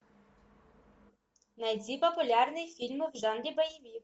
найди популярные фильмы в жанре боевик